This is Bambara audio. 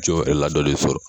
Co ladɔnlen sɔrɔ.